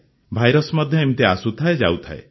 virus ମଧ୍ୟ ଏମିତି ଆସୁଥାଏଯାଉଥାଏ